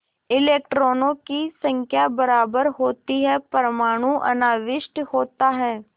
इलेक्ट्रॉनों की संख्या बराबर होती है परमाणु अनाविष्ट होता है